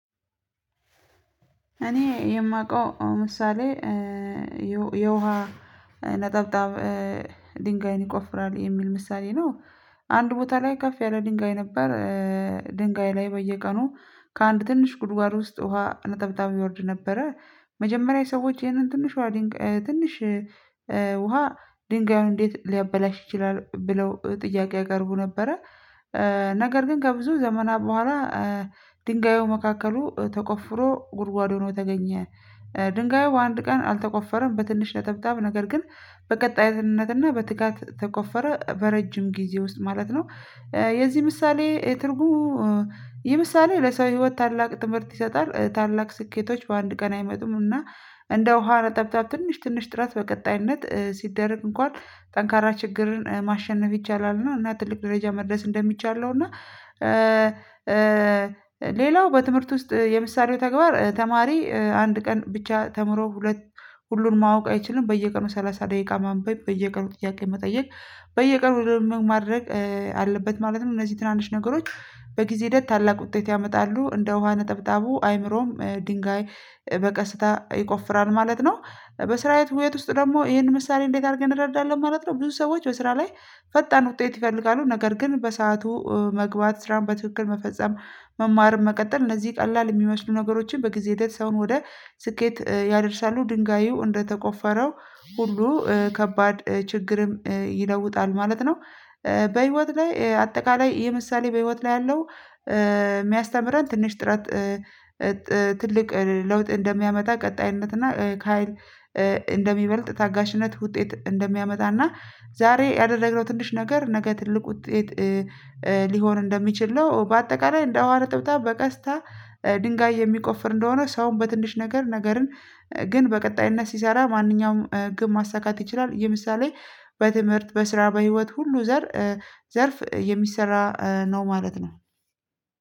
እኔ የማውቀው ምሳሌ የውሃ ነጠብጣብ ድንጋይን ይቆፍራል የሚል ምሳሌ ነው። አንድ ቦታ ላይ ከፍ ያለ ድንጋይ ነበር። ድንጋይ ላይ በየቀኑ ከአንድ ትንሽ ጉድጓድ ውስጥ ውሃ ነጠብጣብ ይወርድ ነበረ። መጀመሪያ ሰዎች ይህንን ዲንጋይ ትንሽ ውሃ ድንጋዩን እንዴት ሊያበላሽ ይችላል ብለው ጥያቄ ያቀርቡ ነበረ? ነገር ግን ከብዙ ዘመናት በኋላ ድንጋዩ መካከሉ ተቆፍሮ ጉድጓድ ሆኖ ተገኘ። ድንጋዩ በአንድ ቀን አልተቆፈረም በትንሽ ነጠብጣብ ነገር ግን በቀጣይነትና በትጋት ተቆፈረ በረጅም ጊዜ ውስጥ ማለት ነው። የዚህ ምሳሌ ትርጉሙ ይህ ምሳሌ ለሰው ህይወት ታላቅ ትምህርት ይሰጣል። ታላቅ ስኬቶች በአንድ ቀን አይመጡም እና እንደ ውሃ ነጠብጣብ ትንሽ ትንሽ ጥረት በቀጣይነት ሲደረግ እንኳን ጠንካራ ችግርን ማሸነፍ ይቻላል እና ትልቅ ደረጃ መድረስ እንደሚቻል ነው። እና ሌላው በትምህርት ውስጥ የምሳሌው ተግባር ተማሪ አንድ ቀን ብቻ ተምሮ ሁለት ሁሉን ማወቅ አይችልም በየቀኑ ሰላሳ ደቂቃ ማንበብ በየቀኑ ጥያቄ መጠየቅ በየቀኑ ማድረግ አለበት ማለት ነው። እነዚህ ትናንሽ ነገሮች በጊዜ ሂደት ታላቅ ውጤት ያመጣሉ እንደ ውሃ ነጠብጣቡ አይምሮም ድንጋይ በቀስታ ይቆፍራል ማለት ነው። በስራ ህይወት ውስጥ ደግሞ ይሄን ምሳሌ እንዴት አድርገን እንረዳለን ማለት ነው። ብዙ ሰዎች በስራ ላይ ፈጣን ውጤት ይፈልጋሉ ነገር ግን በሰአቱ መግባት ስራን በትክክል መፈጸም መማርን መቀጠል እነዚህ ቀላል የሚመስሉ ነገሮችን በጊዜ ሂደት ሰውን ወደ ስኬት ያደርሳሉ ድንጋዩ እንደተቆፈረው ሁሉ ከባድ ችግርም ይለውጣል ማለት ነው። በህይወት ላይ አጠቃላይ ይህ ምሳሌ በህይወት ላይ ያለው የሚያስተምረን ትንሽ ጥረት ትልቅ ለውጥ እንደሚያመጣ ቀጣይነት እና ከሃይል እንደሚበልጥ ታጋሽነት ውጤት እንደሚያመጣና ዛሬ ያደረግነው ትንሽ ነገር ነገ ትልቅ ውጤት ሊሆን እንደሚችል ነው። በአጠቃላይ እንደ ውሃ ነጠብጣብ በቀስታ ድንጋይ የሚቆፍር እንደሆነ ሰውን በትንሽ ነገር ነገርን ግን በቀጣይነት ሲሰራ ማንኛውም ግብ ማሳካት ይችላል። ይህ ምሳሌ በትምህርት በስራ በህይወት ሁሉ ዘርፍ የሚሰራ ነው ማለት ነው።